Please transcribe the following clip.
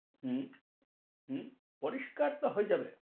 হম হম পরিষ্কার তো হয়ে যাবে।